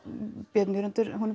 Björn Jörundur